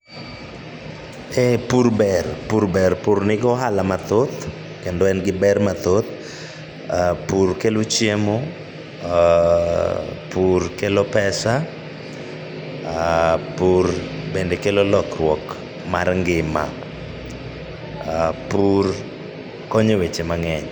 Ee pur ber pur ber, pur nigi ohala mathoth kendo en giber mathoth, pur kelo chiemo , pur kelo pesa pur kelo lokruok mar ngima. Pur konyo eweche mang'eny.